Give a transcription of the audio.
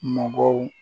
Mɔgɔw